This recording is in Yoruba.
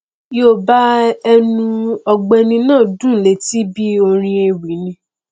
yoòbá ẹnu ọgbẹni náà dùn léti bí orin ewì ni